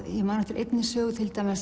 ég man eftir einni sögu